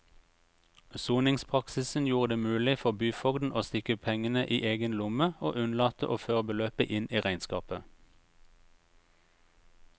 Soningspraksisen gjorde det mulig for byfogden å stikke pengene i egen lomme og unnlate å føre beløpet inn i regnskapet.